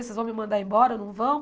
Vocês vão me mandar embora ou não vão?